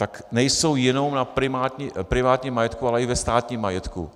Tak nejsou jenom na privátním majetku, ale i ve státním majetku.